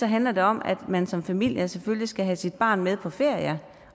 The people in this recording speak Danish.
handler det om at man som familie selvfølgelig skal have sit barn med på ferie